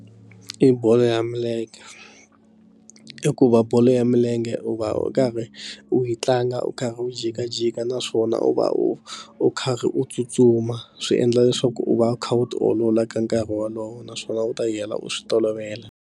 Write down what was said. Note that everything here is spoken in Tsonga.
I bolo ya milenge hikuva bolo ya milenge u va u karhi u yi tlanga u karhi u jikajika naswona u va u u karhi u tsutsuma swi endla leswaku u va u kha u ti olola ka nkarhi wolowo naswona u ta yi hela u swi tolovela.